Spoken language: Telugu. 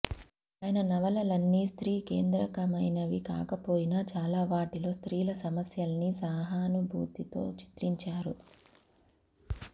ఆయన నవలలన్నీ స్త్రీ కేంద్రకమైనవి కాకపోయినా చాలావాటిలో స్త్రీల సమస్యల్ని సహానుభూతితో చిత్రించారు